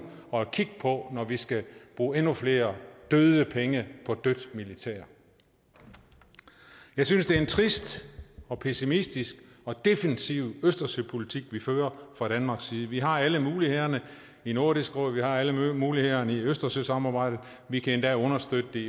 at kigge på når vi skal bruge endnu flere døde penge på dødt militær jeg synes det er en trist og pessimistisk og defensiv østersøpolitik vi fører fra danmarks side vi har alle mulighederne i nordisk råd vi har alle mulighederne i østersøsamarbejdet og vi kan endda understøtte det